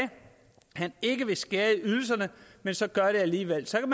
han ikke ville skære ydelserne men så gør det alligevel så kan